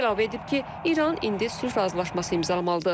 Trump əlavə edib ki, İran indi sülh razılaşması imzalamalıdır.